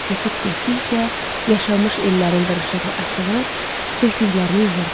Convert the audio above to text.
Keçib getdikcə yaşamış illərin qırışığı açılır, tökdüklərini yığırdı.